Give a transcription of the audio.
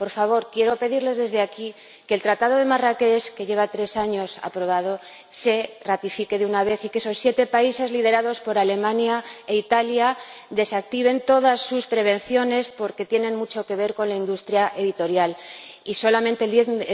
Por favor, quiero pedirle, desde aquí, que el Tratado de Marrakech, que lleva tres años aprobado, se ratifique de una vez y que esos siete países, liderados por Alemania e Italia, desactiven todas sus prevenciones —porque tienen mucho que ver con la industria editorial y solamente el 10